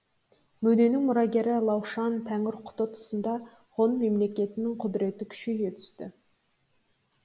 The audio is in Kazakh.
мөденің мұрагері лаушан тәңірқұты тұсында ғұн мемлекетінің құдіреті күшейе түсті